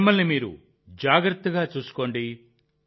మిమ్మల్ని మీరు జాగ్రత్తగా చూసుకోండి